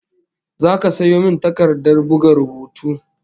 Zaka sayo min takardar buga rubutu?